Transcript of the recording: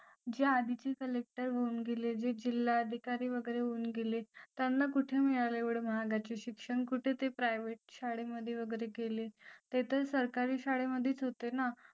जे आजचे collector होऊन गेले जे जिल्हाधिकारी वगैरे होऊन गेले त्यांना कुठे मिळालं एवढं महागाचे शिक्षण कुठे ते private शाळे मध्ये वगैरे गेले ते तर सरकारी शाळेमध्ये होते ना